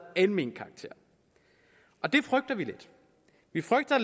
almen karakter og det frygter vi lidt vi frygter